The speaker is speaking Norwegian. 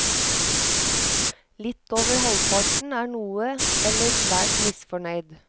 Litt over halvparten er noe eller svært misfornøyd.